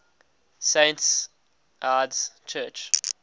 saints lds church